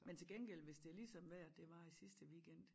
Men til gengæld hvis det er lige sådan vejret det var i sidste weekend